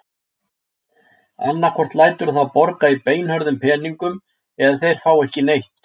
Annaðhvort læturðu þá borga í beinhörðum peningum eða þeir fá ekki neitt.